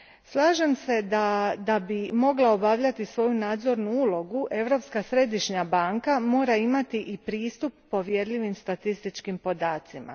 Slažem se da bi mogla obavljati svoju nadzornu ulogu, Europska središnja banka mora imati i pristup povjerljivim statističkim podacima.